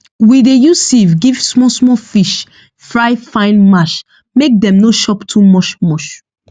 we dey use sieve give small small fish fry fine mash make dem no chop too much much